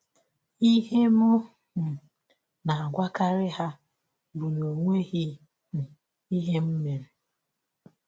Ihe m um na - agwakarị ha bụ na ọ nweghị um ihe m mere.